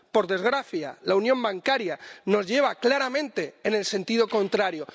Por desgracia, la unión bancaria nos lleva claramente en el sentido contrario.